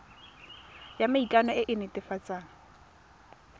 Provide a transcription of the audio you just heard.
ya maikano e e netefatsang